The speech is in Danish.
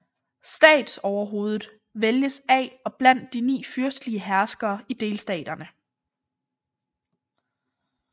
Statsoverhovedet vælges af og blandt de ni fyrstelige herskere i delstaterne